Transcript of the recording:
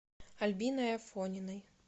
альбиной афониной